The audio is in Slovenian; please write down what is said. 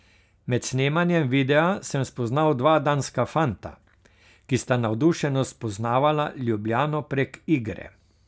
Med snemanjem videa sem spoznal dva danska fanta, ki sta navdušeno spoznavala Ljubljano prek igre.